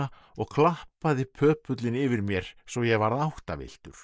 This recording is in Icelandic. og klappaði yfir mér svo ég varð áttavilltur